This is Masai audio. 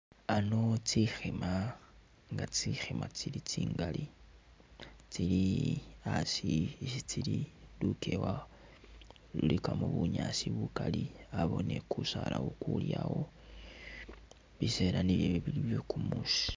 Ano tsi khima nga tsi khima tsili tsingali, tsili asi isi tsili lukewa lulikamo bunyaasi bukali abawo ni kusala ukuli awo, bisela nibwo ebi bili byekumusi.